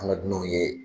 An ka dunanw ye